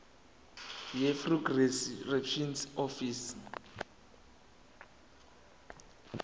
yirefugee reception office